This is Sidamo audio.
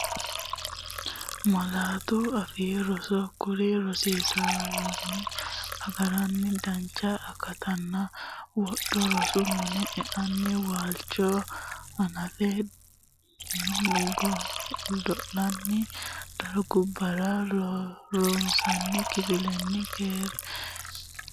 Malaatu Afii Roso Kuri rosaanotewiinni agarranni dancha akattanna wodho rosu mine e’nanni waalchinni hanaffe, godo’linanni dargubbara, ronsanni kifillan- kera, mixaaffate minna, laaborarorete, rosu minnanke gashshootu biiro- heedhannonke millimmora agadha hasiissannonke amanyootuwaati.